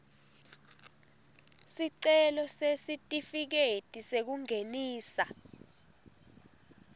sicelo sesitifiketi sekungenisa